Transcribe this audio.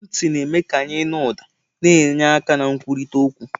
Ntị na-eme ka anyị nụ ụda, na-enye aka na nkwurịta okwu.